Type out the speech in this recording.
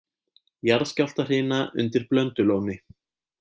Jarðskjálftahrina undir Blöndulóni